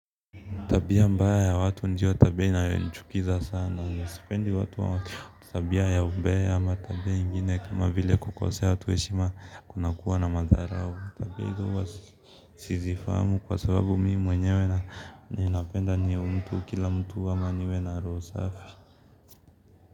Tabia mbaya ya watu ndiyo tabia inayonichukiza sana. Sipendi watu wa tabia ya umbea ama tabia ingine kama vile kukosea watu heshima, kunakuwa na madharau. Tabia hizi huwa sizifahamu kwa sababu mimi mwenyewe ninapenda niwe mtu kila mtu ama niwe na roho safi.